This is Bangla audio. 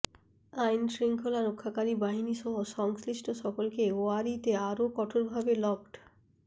আইনশৃঙ্খলা রক্ষাকারী বাহিনীসহ সংশ্লিষ্ট সকলকে ওয়ারিতে আরও কঠোরভাবে লকড